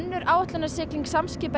að áætlunarskip Samskipa